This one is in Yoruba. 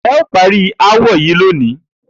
E̩ óò parí aáwò̩ yìí lónìí!